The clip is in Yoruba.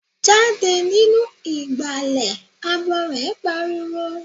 Jáde nínú ìgbàlẹ̀! Abọrẹ̀ pariwo.